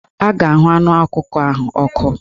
A ga-ahụ anụ ọkụkọ ahụ n'ọkụ